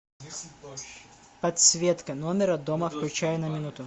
подсветка номера дома включай на минуту